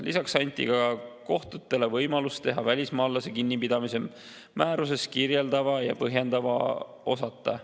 Lisaks anti ka kohtutele võimalus teha välismaalase kinnipidamise määrus kirjeldava ja põhjendava osata.